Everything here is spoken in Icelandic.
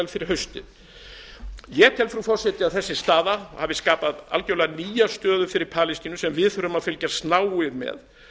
fyrir haustið ég tel að þessi þróun hafi skapað algjörlega nýja stöðu fyrir palestínu sem við þurfum að fylgjast náið með